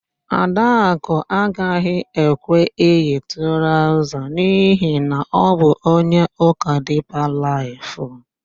Adakụ agaghị ekwe eyi traụza n'ihi na ọ bụ onye ụka Dipa Laịf.